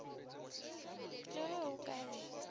le ge o ka e